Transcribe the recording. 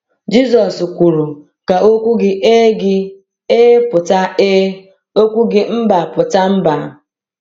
Jisọs kwuru: “Ka okwu gị ‘Ee’ gị ‘Ee’ pụta ‘Ee’, okwu gị ‘Mba’ pụta ‘Mba.’”